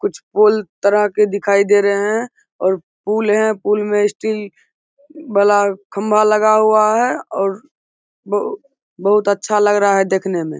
कुछ पूल तरह के दिखाई दे रहे है। और पूल है। पूल में स्टील बला खंभा लगा हुआ है और बहु बहुत अच्छा लग रहा है देखने में --